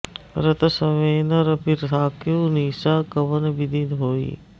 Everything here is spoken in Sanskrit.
रथ समेत रबि थाकेउ निसा कवन बिधि होइ